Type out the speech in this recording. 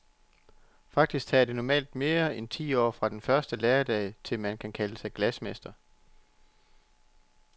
Faktisk tager det normalt mere end ti år fra den første læredag, til man kan kalde sig glasmester.